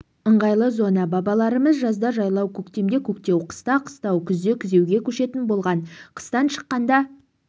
ыңғайлы зона бабаларымыз жазда жайлау көктемде көктеу қыста қыстау күзде күзеуге көшетін болған қыстан шыққанда